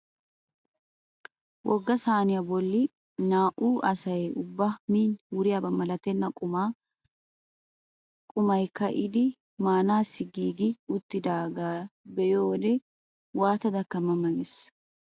Wogga sayniyaa bolli naa"u asay ubba min wuriyaaba malatenna qumay ka'idi maanassi giigi uttagee be'iyoo wode waatadaka ma ma ges!